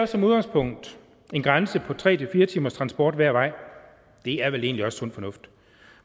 som udgangspunkt en grænse på tre fire timers transport hver vej det er vel egentlig også sund fornuft